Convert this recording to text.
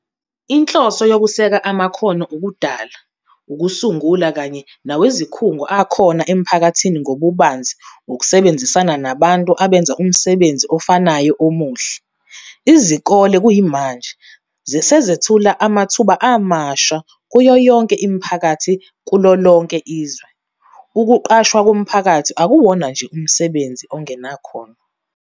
Inhloso ngukuseka amakhono okudala, okusungula kanye nawezikhungo akhona emphakathini ngobubanzi ukusebenzisana nabantu abenza umsebenzi ofanayo omuhle. Izikole kuyimanje ziyaqasha, zethula amathuba amasha kuyo yonke imiphakathi kulolonke izwe. Ukuqashwa komphakathi akuwona nje umsebenzi ongenakhono.